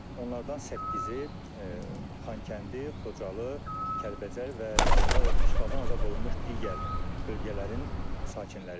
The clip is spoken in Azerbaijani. Onlardan səkkizi Xankəndi, Xocalı, Kəlbəcər və işğaldan azad olunmuş digər bölgələrin sakinləridir.